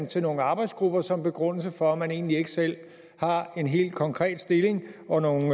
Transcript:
til nogle arbejdsgrupper som begrundelse for at man egentlig ikke selv har en helt konkret stilling og nogen